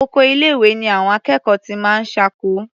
Oko ilé-ìwé ni àwọn akẹ́kọ̀ọ́ ti máa ń ṣáko.